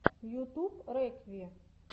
ютуб рекви